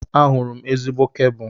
Ahụrụ m ezigbo kebụl.